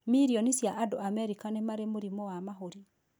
Mirioni cia andũ Amerika nĩ marĩ mũrimũ wa mahũri.